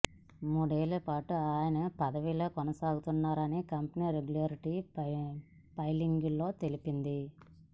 మూడేళ్లపాటు ఆయన ఈ పదవీలో కొనసాగనున్నారని కంపెనీ రెగ్యులేటరీ ఫైలింగ్లో తెలిపింది